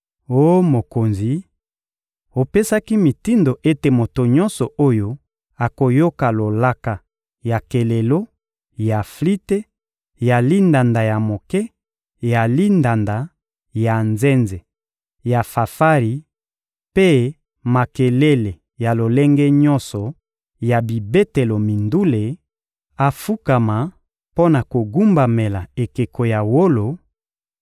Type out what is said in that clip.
Oh mokonzi, opesaki mitindo ete moto nyonso oyo akoyoka lolaka ya kelelo, ya flite, ya lindanda ya moke, ya lindanda, ya nzenze, ya fanfari mpe makelele ya lolenge nyonso ya bibetelo mindule afukama mpo na kogumbamela ekeko ya wolo;